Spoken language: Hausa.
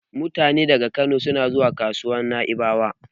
Mutane daga ɓangarorin Kano suna suna zuwa kasuwar Na'ibawa.